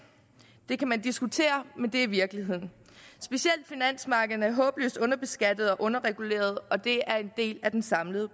det kan man diskutere men det er virkeligheden specielt finansmarkederne er håbløst underbeskattede og underregulerede og det er en del af den samlede